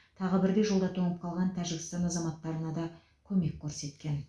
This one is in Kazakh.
тағы бірде жолда тоңып қалған тәжікстан азаматтарына да көмек көрсеткен